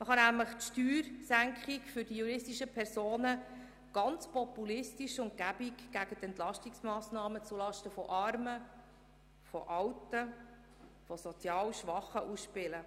Man kann nämlich die Steuersenkung für die juristischen Personen ganz populistisch gegen die Entlastungsmassnahmen zulasten von Armen, Alten und sozial Schwachen ausspielen.